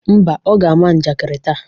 Ḿbà, Ọ ga-ama njakịrị taa.